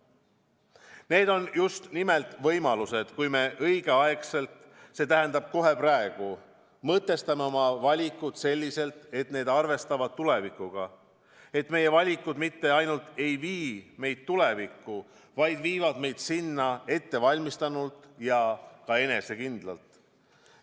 Ja see pakub just nimelt võimalusi, kui me õigel ajal, see tähendab kohe praegu mõtestame oma valikud selliselt, et need arvestavad tulevikuga, et meie valikud mitte ainult ei vii meid tulevikku, vaid viivad meid sinna ettevalmistunult ja ka enesekindlalt.